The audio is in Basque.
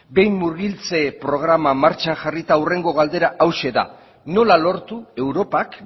behin murgiltze programa martxan jarrita hurrengo galdera hauxe da nola lortu europak